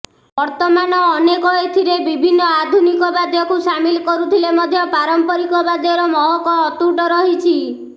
ବର୍ତ୍ତମାନ ଅନେକ ଏଥିରେ ବିଭିନ୍ନ ଆଧୁନିକ ବାଦ୍ୟକୁ ସାମିଲ କରୁଥିଲେ ମଧ୍ୟ ପାରଂପାରିକ ବାଦ୍ୟର ମହକ ଅତୁଟ ରହିଛି